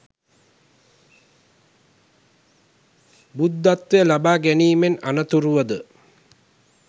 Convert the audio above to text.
බුද්ධත්වය ලබා ගැනීමෙන් අනතුරුව ද